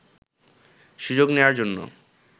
সুযোগ নেয়ার জন্য